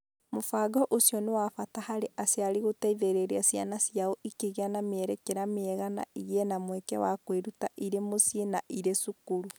Mũbango ũcio nĩ wa bata harĩ aciari gũteithĩrĩria ciana ciao ikĩgĩa na mĩerekera mĩega na igĩe na mweke wa kwĩruta irĩ mũciĩ na irĩ cukuru.